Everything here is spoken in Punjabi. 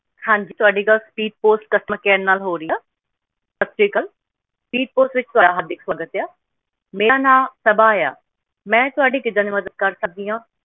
ਹਾਂ ਜੀ ਤੁਹਾਡੀ ਗੱਲ speedpostcustomercare ਨਾਲ ਹੋ ਰਹੀ ਆ ਸਤਿ ਸ੍ਰੀ ਅਕਾਲ speedpost ਵੋਚ ਤੁਹਾਡਾ ਹਾਰਦਿਕ ਸਵਾਗਤ ਆ ਮੇਰਾ ਨਾਮ ਸਭਆ ਮੈਂ ਤੁਹਾਡੀ ਕਿੱਦਾਂ ਦੀ ਮਦਦ ਕਰ ਸਕਦੀ ਆ